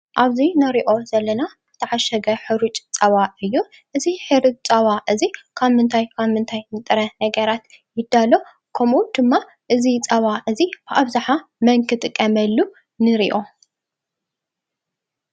ኣብዚ እነርኦ ዘለና ዝተዓሸገ ሕሩጩ ፀባ እዩ። እዚይ ሕሩጩ ፀባ እዚ ካብ ምንተይ ካብ ምንታይ ጥር ነገራት ይዳሎ? ከምኡ ድማ እዝ ፀባ እዚ ብኣብዛሓ መን ክጥቀመሉ ነርኦ?